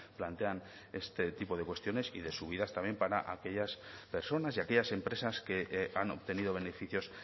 plantean este tipo de cuestiones y de subidas también para aquellas personas y aquellas empresas que han obtenido beneficios